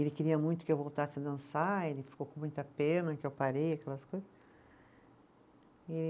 E ele queria muito que eu voltasse a dançar, ele ficou com muita pena que eu parei, aquelas coisas, e